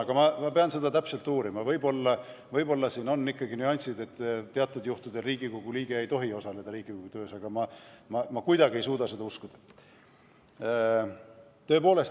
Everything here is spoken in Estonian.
Aga ma pean seda täpselt uurima, võib-olla siin on ikkagi mingid nüansid, et teatud juhtudel Riigikogu liige ei tohi osaleda Riigikogu töös, ehkki ma ei suuda kuidagi seda uskuda.